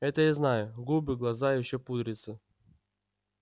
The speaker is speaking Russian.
это я знаю губы глаза и ещё пудрится